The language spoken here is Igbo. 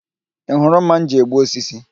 Ị hụrụ ḿmà m ji egbu osisi?